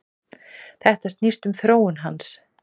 Þetta snýst um þróun hans.